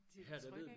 Til det trygge ik